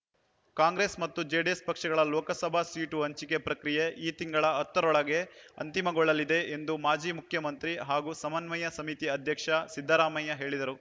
ಕಾಂಗ್ರೆಸ್ ಮತ್ತು ಜೆಡಿಎಸ್ ಪಕ್ಷಗಳ ಲೋಕಸಭಾ ಸೀಟು ಹಂಚಿಕೆ ಪ್ರಕ್ರಿಯೆ ಈ ತಿಂಗಳ ಹತ್ತ ರೊಳಗೆ ಅಂತಿಮಗೊಳ್ಳಲಿದೆ ಎಂದು ಮಾಜಿ ಮುಖ್ಯಮಂತ್ರಿ ಹಾಗೂ ಸಮನ್ವಯ ಸಮಿತಿ ಅಧ್ಯಕ್ಷ ಸಿದ್ದರಾಮಯ್ಯ ಹೇಳಿದರು